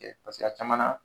Ɛ a caman na